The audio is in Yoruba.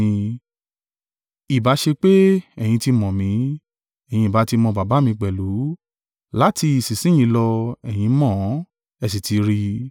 Ìbá ṣe pé ẹ̀yin ti mọ̀ mí, ẹ̀yin ìbá ti mọ Baba mi pẹ̀lú, láti ìsinsin yìí lọ ẹ̀yin mọ̀ ọ́n, ẹ sì ti rí i.”